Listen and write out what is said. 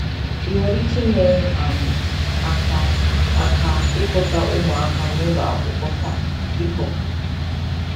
Ị nwere ike inyere um m aka aka ịkpọta ụmụaka n'ụlọakwụkwọ taa, biko?